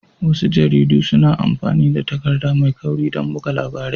Wasu jaridu suna amfani da takarda mai kauri don buga labarai